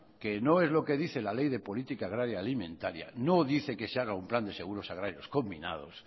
que no es lo que dice la ley de política agraria alimentaria no dice que se haga un plan de seguros agrarios combinados